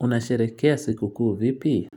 Unasherekea sikukuu vipi?